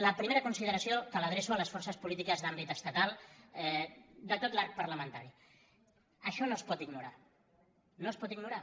la primera consideració que l’adreço a les forces po·lítiques d’àmbit estatal de tot l’arc parlamentari això no es pot ignorar no es pot ignorar